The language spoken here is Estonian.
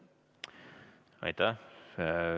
Aitäh!